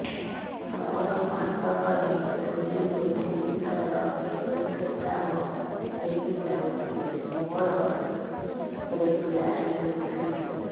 ମୋର ମାସ କ ରେ ଦୁଇ ରୁ ତିନି ଥର ଋତୁଶ୍ରାବ ହେଇଯାଉଛି ମୋର ରେଗୁଲାର ହେଉନାହିଁ